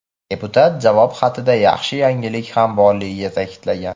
Deputat javob xatida yaxshi yangilik ham borligini ta’kidlagan.